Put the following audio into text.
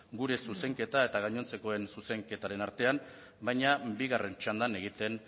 gure zuzenketa eta gainontzekoen zuzenketaren artean baina bigarren txandan egiten